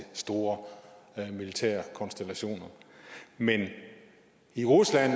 store militære konstellationer men i rusland